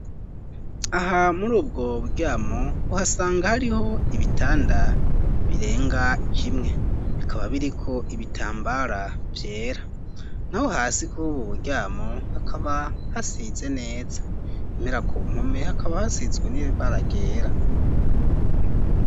Aha muri ubwo buryamo uhasanga hariho ibitanda birenga kimwe bikaba biriko ibitambara vyera na ho hasi kubobu buryamo hakaba hasize neza impera ku mpome hakaba hasizwe n'ibe baragera.